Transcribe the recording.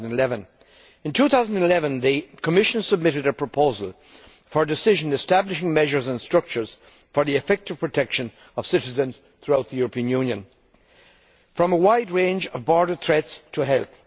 2011. In 2011 the Commission submitted a proposal for a decision establishing measures and structures for the effective protection of citizens throughout the European Union from a wide range of border threats to health.